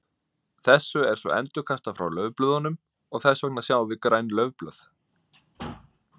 þessu er svo endurkastað frá laufblöðunum og þess vegna sjáum við græn laufblöð